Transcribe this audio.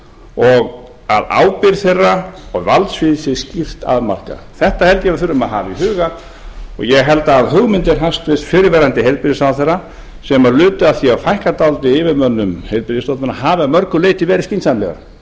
og að ábyrgð þeirra og valdsvið sé skýrt afmarkað þetta held ég að við þurfum að hafa í huga og ég held að hugmyndir hæstvirtur fyrrverandi heilbrigðisráðherra sem lutu að því að fækka dálítið yfirmönnum heilbrigðisstofnana hafi að mörgu leyti verið skynsamlegar